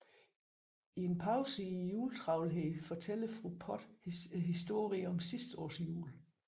I en pause i juletravlheden fortæller fru Potts historien om sidste års jul